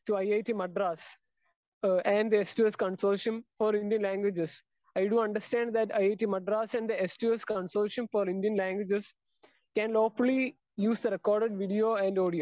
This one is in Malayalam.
Speaker 2 to IIT Madras and the S 2 S consortium for Indian languages. I do understand that IIT Madras and the S two S consortium for Indian languages can lawfully use the record video and audio.